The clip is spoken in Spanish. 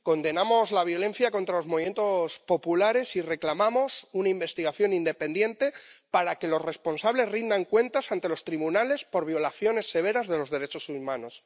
Condenamos la violencia contra los movimientos populares y reclamamos una investigación independiente para que los responsables rindan cuentas ante los tribunales por violaciones severas de los derechos humanos.